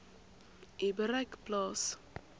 u bereik plaas